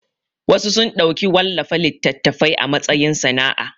Wasu sun ɗauki wallafa littatafai a matsayin sana'a